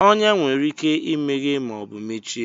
Ọnyá nwere ike imeghe ma ọ bụ mechie